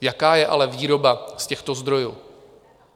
Jaká je ale výroba z těchto zdrojů?